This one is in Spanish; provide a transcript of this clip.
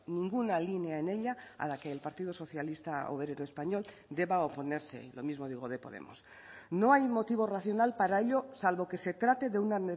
ninguna línea en ella a la que el partido socialista obrero español deba oponerse y lo mismo digo de podemos no hay motivo racional para ello salvo que se trate de una